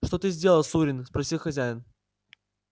что ты сделал сурин спросил хозяин